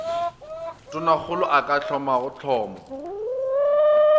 tonakgolo a ka thomago hlomo